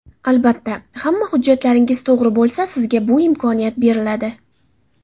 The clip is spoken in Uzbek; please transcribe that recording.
Albatta, hamma hujjatlaringiz to‘g‘ri bo‘lsa sizga bu imkoniyat beriladi.